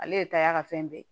Ale ye taa y'a ka fɛn bɛɛ ye